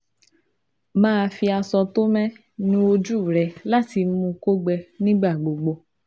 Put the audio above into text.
Máa fi aṣọ tó mẹ́ nu ojú rẹ láti mú kó gbẹ nígbà gbogbo